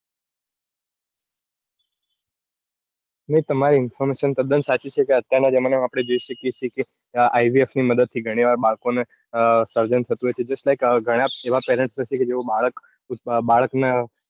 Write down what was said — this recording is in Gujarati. તમારી information તદ્દન સાચી છે કે અત્યાર ના જમાના માં આપણે જોઈ શકીયે છીએ કે IVF ની મદદ થી ગણી વાર બાળકો નું સર્જન થતું હોય છે. justlike ગણા એવા parents નથી કે જેઓ બાળક ના.